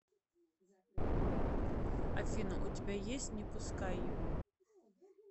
афина у тебя есть не пускай его